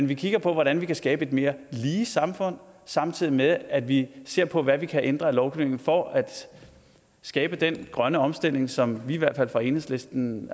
vi kigger på hvordan vi kan skabe et mere lige samfund samtidig med at vi ser på hvad vi kan ændre af lovgivning for at skabe den grønne omstilling som vi i hvert fald fra enhedslistens